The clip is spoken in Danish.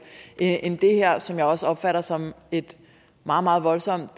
end det her som jeg også opfatter som et meget meget voldsomt